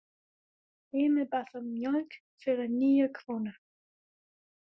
Emil bað um mjólk fyrir níu krónur.